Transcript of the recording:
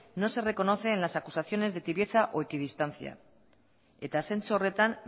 no se reconoce en las acusaciones de tibieza o equidistancia eta zentzu horretan